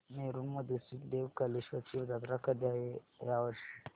नेरुर मधील श्री देव कलेश्वर ची जत्रा कधी आहे या वर्षी